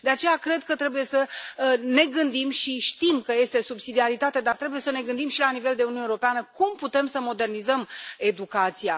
De aceea, cred că trebuie să ne gândim și știm că este subsidiaritate, dar trebuie să ne gândim și la nivel de Uniune Europeană cum putem să modernizăm educația.